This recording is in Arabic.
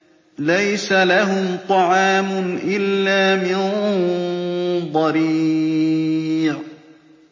لَّيْسَ لَهُمْ طَعَامٌ إِلَّا مِن ضَرِيعٍ